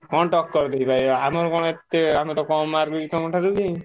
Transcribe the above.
କଣ ଟକ୍କର ଦେଇପାରିବ ଆମର କଣ ଏତେ ଆମେତ କମ୍ mark ରଖିଛୁ ତମ ଠାରୁ ବି।